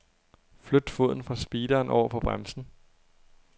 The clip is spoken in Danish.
Flyt foden fra speederen over på bremsen.